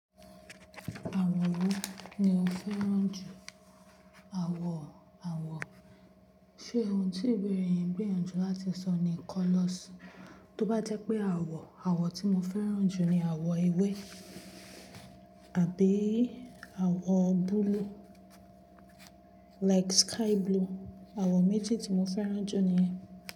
Àwọ̀ wo ni o fẹ́ràn jù? Àwọ̀, àwọ̀, ṣe ohun tí ìbéèrè yín ń gbiyanju láti sọ ni colours? Tó bá jẹ́ pé àwọ̀, àwọ̀ tí mo fẹ́ràn jù ni àwọ̀ ewé àbí àwọ̀ búlúù like sky blue. Àwọ̀ méjì tí mo fẹ́ràn jù ni.